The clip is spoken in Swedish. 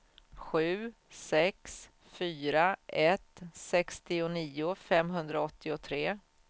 sju sex fyra ett sextionio femhundraåttiotre